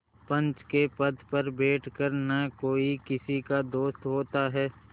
पंच के पद पर बैठ कर न कोई किसी का दोस्त होता है